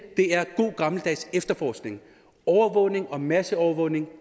det er god gammeldags efterforskning overvågning og masseovervågning